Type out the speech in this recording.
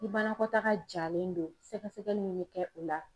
Ni banakɔtaga jalen do sɛgɛsɛgɛli min bɛ kɛ o la